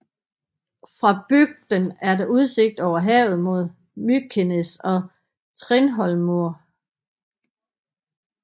Fra bygden er der udsigt over havet mod Mykines og Tindhólmur